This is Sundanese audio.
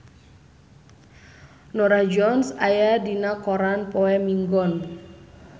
Norah Jones aya dina koran poe Minggon